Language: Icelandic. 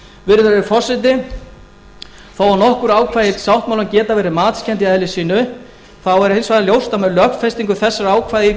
virðulegi forseti þó að nokkur ákvæði sáttmálans geti verið matskennd í eðli sínu er hins vegar ljóst að með lögfestingu þessara ákvæða í